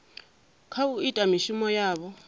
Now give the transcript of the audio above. kha u ita mishumo yavho